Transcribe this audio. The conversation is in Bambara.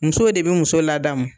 Musow de bi muso laadamu